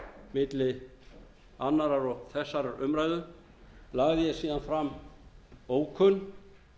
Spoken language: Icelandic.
milli annars og þessarar umræðu lagði ég síðan fram bókun